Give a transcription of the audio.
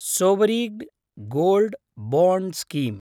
sovereign gold bond scheme